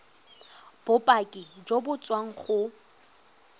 bopaki jo bo tswang go